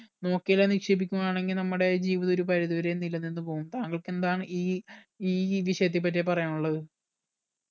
നോക്കി എല്ലാം നിക്ഷേപിക്കുന്നതാണെങ്കി നമ്മുടെ ജീവിതം ഒരു പരിധിവരേം നില നിന്ന് പോകും താങ്കൾക്ക് എന്താണ് ഈ ഈ വിഷയത്തെ പറ്റി പറയാനുള്ളത്